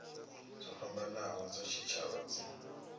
dzo fhambanaho dza tshitshavha dzi